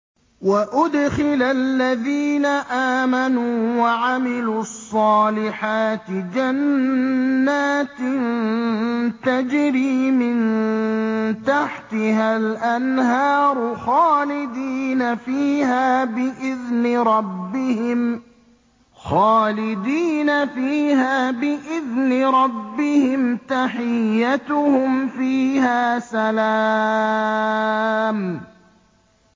وَأُدْخِلَ الَّذِينَ آمَنُوا وَعَمِلُوا الصَّالِحَاتِ جَنَّاتٍ تَجْرِي مِن تَحْتِهَا الْأَنْهَارُ خَالِدِينَ فِيهَا بِإِذْنِ رَبِّهِمْ ۖ تَحِيَّتُهُمْ فِيهَا سَلَامٌ